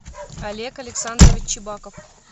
олег александрович чебаков